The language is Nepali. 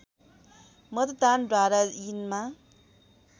मतदानद्वारा यिनमा